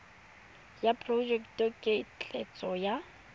ya porojeke ya ketleetso ya